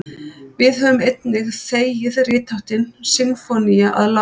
við höfum einnig þegið ritháttinn sinfónía að láni